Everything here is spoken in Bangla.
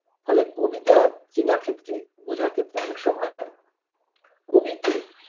ফলে কবিতা চেনার ক্ষেত্রে বোঝার ক্ষেত্রে অনেক সময় কবিকে